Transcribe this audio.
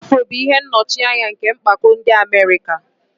Afro bụ ihe nnọchianya nke mpako ndị Amerik